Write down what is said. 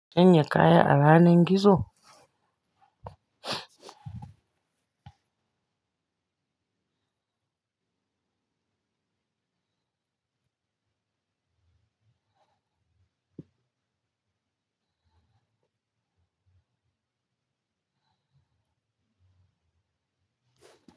Sanya kaya a ranar gizo.